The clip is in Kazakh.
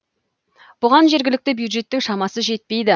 бұған жергілікті бюджеттің шамасы жетпейді